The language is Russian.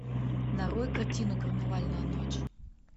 нарой картину карнавальная ночь